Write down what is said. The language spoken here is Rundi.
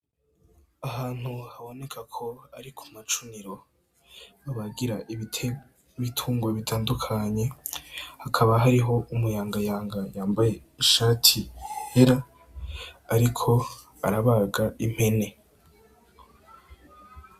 Ahantu haboneka ko ari kumacuniro babagira ibitungwa bitandukanye, hakaba hariho umuyangayanga yambaye ishati yera, ariko arabaga impene.